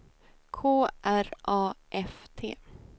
K R A F T